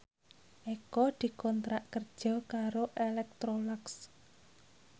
Eko dikontrak kerja karo Electrolux